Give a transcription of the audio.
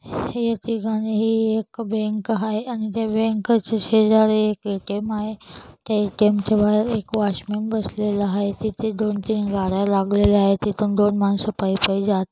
एक ठिकाणी हे एक बैंक आहे आणि त्या बैंकच्या शेजारी एक ए_टी_ए_म आहे त्या ए_टी_ए_म च्या बहेर वॉचमेन बसलेला आहे तेथे दोन तीन गाड्या लावलेले आहेत तिथुन दोन मानस पाई-पाई जात--